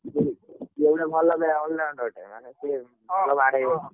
ସିଏ ବି ଭଲ ଖେଳେ all-rounder ଟା ମାନେ ସେ ଭଲ ବାଡ଼େଇବ ଓହୋ।